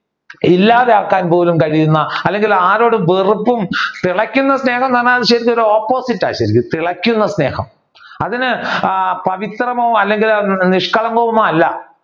ഇല്ലാതെ ആക്കാൻ പോലും കഴിയുന്ന അല്ലെങ്കിൽ ആരോടും വെറുപ്പും തിളയ്ക്കുന്ന സ്നേഹം എന്ന് പറഞ്ഞാൽ ശരിക്കും അത് opposite ആണ് ശരിക്കും. തിളയ്ക്കുന്ന സ്നേഹം. അതിന് പവിത്രമോ അല്ലെങ്കിൽ നിഷ്കളങ്കമോ അല്ല